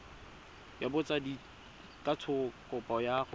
ya botsadikatsho kopo ya go